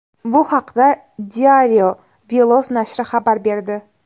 Bu haqda Diario Veloz nashri xabar berdi .